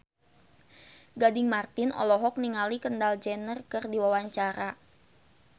Gading Marten olohok ningali Kendall Jenner keur diwawancara